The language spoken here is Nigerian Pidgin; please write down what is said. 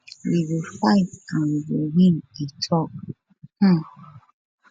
we go fight and we go win e tok um